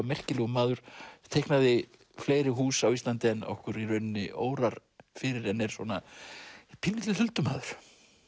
merkilegur maður teiknaði fleiri hús á Íslandi en okkur í rauninni órar fyrir en er svona pínulítill huldumaður